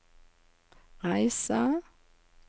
reise